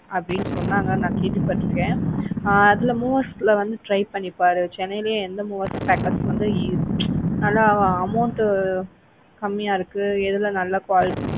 அப்படின்னு சொன்னாங்க நான் கேள்விப்பட்டு இருக்கேன். ஆஹ் அதுல movers ல வந்து try பண்ணி பாரு சென்னையிலே எந்த movers packers வந்து நல்லா amount கம்மியா இருக்கு எதுல நல்லா quality